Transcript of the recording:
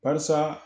Barisa